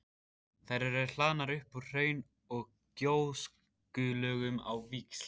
Þær eru hlaðnar upp úr hraun- og gjóskulögum á víxl.